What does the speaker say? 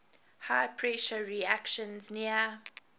high pressure reactions near